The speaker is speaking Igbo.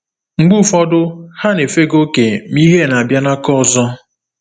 Mgbe ụfọdụ, ha na-efega oke, ma ihe na-abịa n’aka ọzọ.